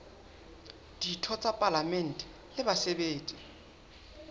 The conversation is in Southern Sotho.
ditho tsa palamente le basebetsi